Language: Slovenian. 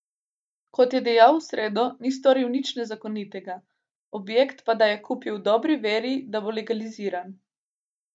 Kot je dejal v sredo, ni storil nič nezakonitega, objekt pa da je kupil v dobri veri, da bo legaliziran.